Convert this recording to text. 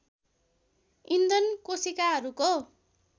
इन्धन कोशिकाहरूको